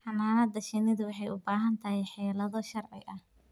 Xannaanada shinnidu waxay u baahan tahay xeelado sharci ah.